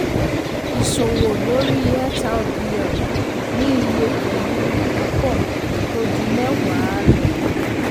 ìṣòwò lórí xrpl ní iye pẹ̀lú púpọ̀ tó ju mẹ́wàá um lọ.